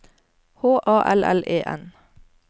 H A L L E N